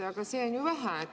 Aga see on ju vähe.